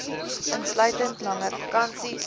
insluitend langer vakansies